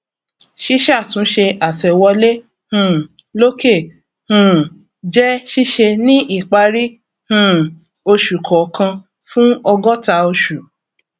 ṣísàtúnṣe àtẹwolé um lòkè um jẹ ṣíṣe ní ìparí um oṣù kọọkan fún ọgọta oṣù